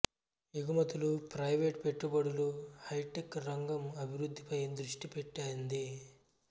ఎగుమతులు ప్రైవేట్ పెట్టుబడులు హైటెక్ రంగం అభివృద్ధిపై దృష్టి పెట్టింది